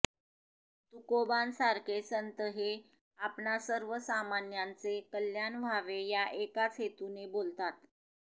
तुकोबांसारखे संत हे आपणा सर्वसामान्यांचे कल्याण व्हावे या एकाच हेतूने बोलतात